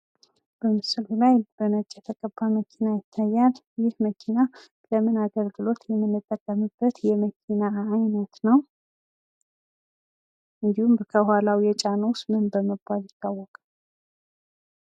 በምስሉ ላይ በነጭ የተቀባ መኪና ይታያል ። ይህ መኪና ለምን አገልግሎት የምንጠቀምበት የመኪና አይነት ነው? እንድሁም ከኋላው የጫነው ምን በመባል ይታወቃል?